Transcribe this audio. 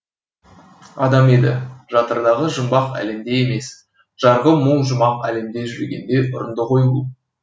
адам еді жатырдағы жұмбақ әлемде емес жарығы мол жұмақ әлемде жүргенде ұрынды ғой бұл